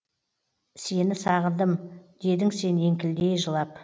сені сағындым дедің сен еңкілдей жылап